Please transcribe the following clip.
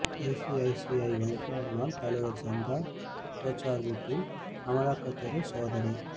ICICI வங்கி முன்னாள் தலைவர் சந்தா கோச்சார் வீட்டில் அமலாக்கத்துறை சோதனை